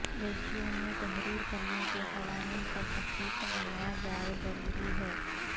resume تحریر کرنے کے قوانین پر سختی سے منایا جائے ضروری ہے